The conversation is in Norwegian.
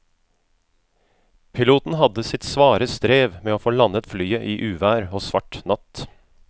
Piloten hadde sitt svare strev med å få landet flyet i uvær og svart natt.